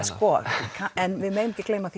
en við megum ekki gleyma